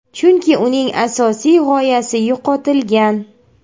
Chunki uning asosiy g‘oyasi yo‘qotilgan.